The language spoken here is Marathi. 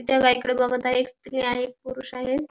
त्या गाईकडे बघत आहे एक स्त्री आणि एक पुरुष आहे.